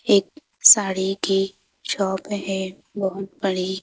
एक साड़ी की शॉप है बहुत बड़ी--